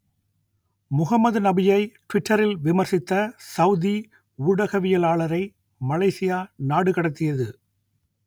முகமது நபியை டுவிட்டரில் விமர்சித்த சவூதி ஊடகவியலாளரை மலேசியா நாடு கடத்தியது